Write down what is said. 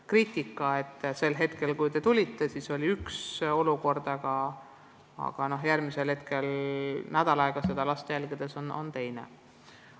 On kritiseeritud, et sel hetkel, kui te kohal olite, oli üks olukord, aga last jälgiti nädal aega ja leiti, et olukord oli hoopis teine.